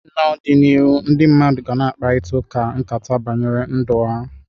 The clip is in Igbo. N'ọdịnihu ndị mmadụ ga na akparịkata nkata banyere ndụ ha.